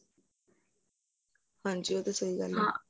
ਹਾਂਜੀ ਉਹ ਤੇ ਸਹੀਂ ਗੱਲ ਏ